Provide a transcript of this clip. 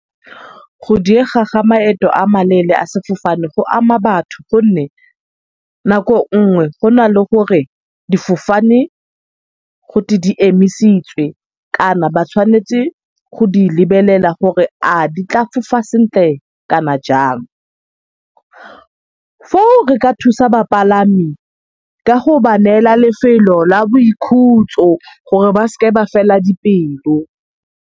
Go diega ga maeto a maleele a sefofane go ama batho gonne nako nngwe go na le gore difofane gote di emisitswe kana ba tshwanetse go di lebelela gore a di tla fofa sentle kana jang. Foo re ka thusa bapalami ka go ba neela lefelo la boikhutso gore ba seke ba fela dipelo.